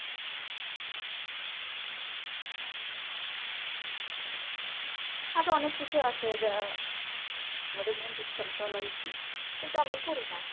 আরো অনেক কিছু আছে যা। আমাদের চলা উচিৎ কিন্তু আমরা করি না